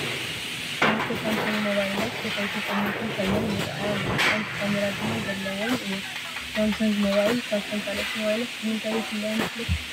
2+ ሳምሰንግ ሞባይላት ድሕሪትን ቅድሚትን ኮይነን ይራኣያ ኣለዋ፡፡ ሓንቲ ካሜራ ድማ ዘለዎን እየን፡፡ ሳምሰንግ ሞባይል ካብተን ካልኦት ሞባይላት ብምንታይ ይፍለያ ይመስለኩም?